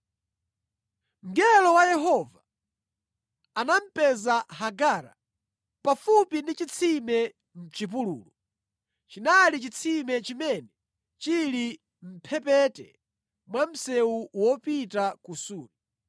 Mngelo wa Yehova anamupeza Hagara pafupi ndi chitsime mʼchipululu. Chinali chitsime chimene chili mʼmphepete mwa msewu wopita ku Suri.